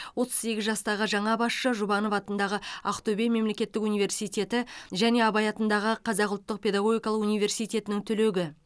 отыз сегіз жастағы жаңа басшы жұбанов атындағы ақтөбе мемлекеттік университеті және абай атындағы қазақ ұлттық педагогикалық университетінің түлегі